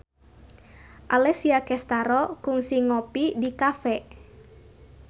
Alessia Cestaro kungsi ngopi di cafe